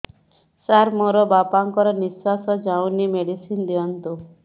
ସାର ମୋର ବାପା ଙ୍କର ନିଃଶ୍ବାସ ଯାଉନି ମେଡିସିନ ଦିଅନ୍ତୁ